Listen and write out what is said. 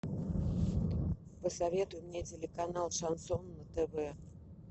посоветуй мне телеканал шансон на тв